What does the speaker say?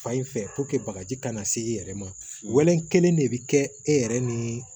Fan in fɛ bagaji kana se i yɛrɛ ma wallɔn kelen de bɛ kɛ e yɛrɛ ni